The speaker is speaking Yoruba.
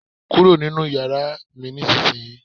Kúrò nínú yàrá mi nísinsìnyí!